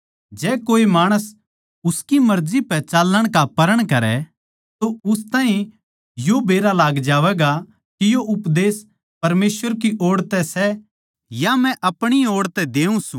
जै कोए माणस उसकी मर्जी पै चालणा का प्रण करै तो उस ताहीं यो बेरा लाग ज्यागा के यो उपदेश परमेसवर की ओड़ तै सै या मै अपणी ओड़ तै देऊँ सूं